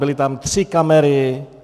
Byly tam tři kamery.